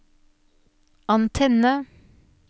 antenne